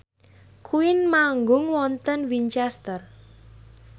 Queen manggung wonten Winchester